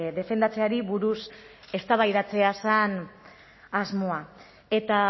defendatzeari buruz eztabaidatzea zen asmoa eta